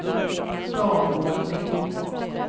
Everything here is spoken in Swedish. dagordning